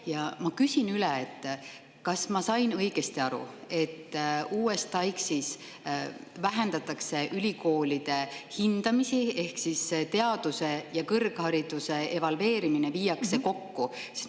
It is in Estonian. Ja ma küsin üle: kas ma sain õigesti aru, et TAIKS‑is vähendatakse ülikoolide hindamisi ehk teaduse ja kõrghariduse evalveerimine viiakse kokku?